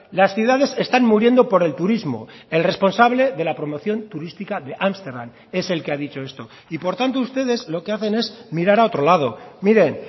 las ciudades están muriendo por el turismo el responsable de la promoción turística de ámsterdam es el que ha dicho esto y por tanto ustedes lo que hacen es mirar a otro lado miren